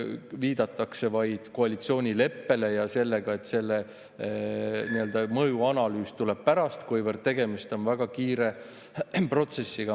Viidatakse vaid koalitsioonileppele ja sellele, et selle mõjuanalüüs tuleb hiljem, kuivõrd tegemist on väga kiire protsessiga.